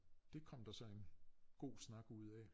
Det kom der så en god snak ud af